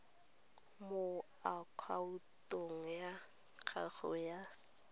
mo akhaontong ya gago ya